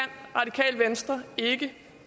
radikale venstre ikke